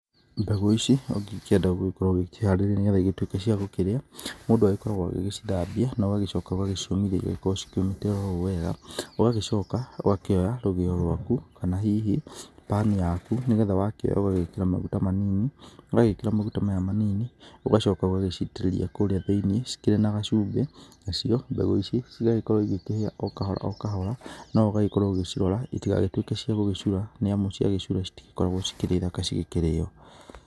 Mbegũ ici ũngĩgĩkĩenda gũgĩkorwo ũgĩkĩharĩrĩria, nĩgetha ituĩke cia gũkĩrĩa mũndũ agĩkoragwo agĩgĩcithambia, no ũgagĩcoka ũgagĩciomithia igagĩkorwo cikĩũmĩte o wega, ũgagĩcoka ũgakĩoya rũgĩo rwaku, kana hihi bani yaku, nĩgetha wakoiya ũgagĩkĩra maguta manini, wagĩkĩra maguta manini, ũgagĩcoka ũgagĩcitĩrĩria kũrĩa thĩiniĩ cikĩrĩ na gacumbĩ, nacio mbegũ ici cigagĩkorwo ikĩhĩa o kahora o kahora, no ũgagĩkorwo ũgĩcirora citigagĩtuĩke cia gũgĩcura, nĩ amũ cia gĩcura citikoragwo ciĩ thaka cikĩrĩo.